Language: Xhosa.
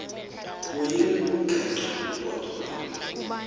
kuyiqengqa ugodo loo